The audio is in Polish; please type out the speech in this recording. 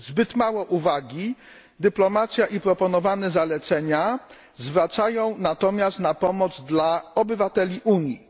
Zbyt mało uwagi dyplomacja i proponowane zalecenia poświęcają natomiast pomocy obywatelom Unii.